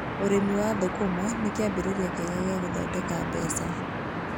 Urĩmi wa thũkũma nĩ kĩambĩrĩria kĩega gĩa gũthondeka mbeca.